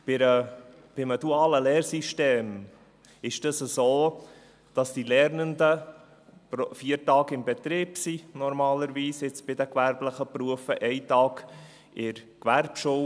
Bei einem dualen Lehrsystem ist es so, dass die Lernenden normalerweise, jetzt bei den gewerblichen Berufen, vier Tage im Betrieb sind und einen Tag in der Gewerbeschule.